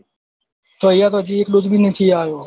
તો આયા તો હજી એક dose ભી નથી આયો